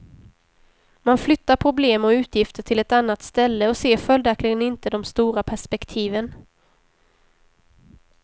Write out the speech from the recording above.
Man flyttar problem och utgifter till ett annat ställe och ser följaktligen inte de stora perspektiven.